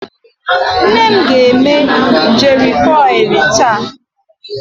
Nnem ga-eme jeri kọilụ taa.